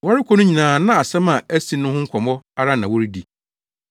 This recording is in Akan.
Wɔrekɔ no nyinaa na asɛm a asi no ho nkɔmmɔ ara na wɔredi.